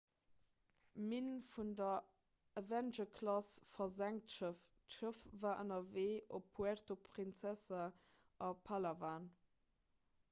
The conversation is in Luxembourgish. minn vun der avenger-klass versenkt schëff d'schëff war ënnerwee op puerto princesa a palawan